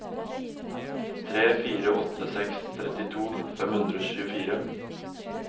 tre fire åtte seks trettito fem hundre og tjuefire